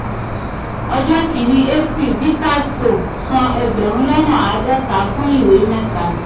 ọjọ́ kinni april vikas co san ẹgbẹ̀rún lọ́nà àádọ́ta fun iwe meta.